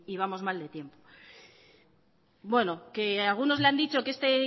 vamos mal de tiempo bueno que algunos le han dicho que este